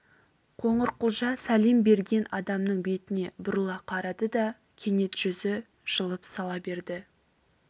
қоңырқұлжа сәлем берген адамның бетіне бұрыла қарады да кенет жүзі жылып сала берді